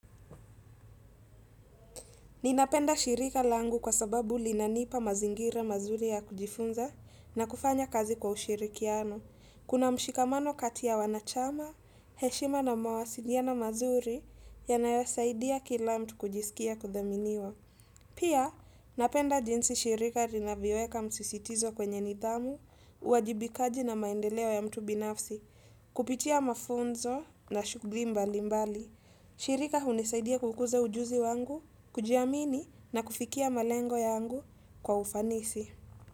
Ninapenda shirika langu kwa sababu linanipa mazingira mazuri ya kujifunza na kufanya kazi kwa ushirikiano. Kuna mshikamano kati ya wanachama, heshima na mawasiliano mazuri yanayosaidia kila mtu kujisikia kudhaminiwa. Pia, napenda jinsi shirika linavyoweka msisitizo kwenye nithamu, uwajibikaji na maendeleo ya mtu binafsi, kupitia mafunzo na shughuli mbali mbali. Shirika hunisaidia kukuza ujuzi wangu, kujiamini na kufikia malengo yangu kwa ufanisi.